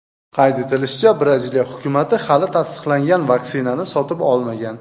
Qayd etilishicha, Braziliya hukumati hali tasdiqlangan vaksinani sotib olmagan.